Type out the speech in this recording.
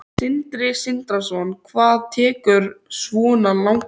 Sindri Sindrason: Guðrún, hvað tekur svona langan tíma?